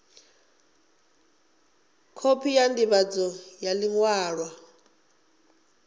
khophi ya ndivhadzo ya liṅwalo